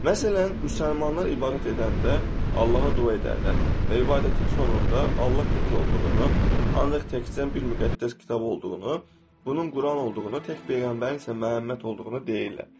Məsələn, müsəlmanlar ibadət edəndə Allaha dua edərlər və ibadətin sonunda Allah tək olduğunu, ancaq təkcə bir müqəddəs kitab olduğunu, bunun Quran olduğunu, tək peyğəmbərin isə Məhəmməd olduğunu deyirlər.